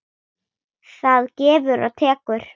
Það gefur og tekur.